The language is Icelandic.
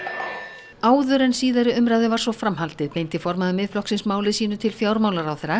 áður en síðari umræðu var svo framhaldið beindi formaður Miðflokksins máli sínu til fjármálaráðherra